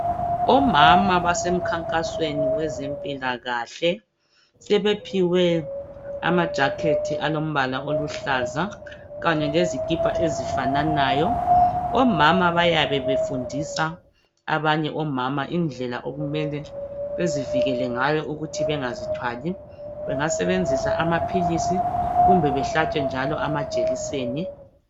Omama basemkhankasweni wezempilakahle sebephiwe amajacket alombala oluhlaza kanye lezikipa ezifananayo ,omama bayabe befundisa abanye omama indlela okumele bazivikele ngayo ukuthi bangazithwali bengasebenzisa amaphilisi kumbe behlatshwe njalo amajekiseni.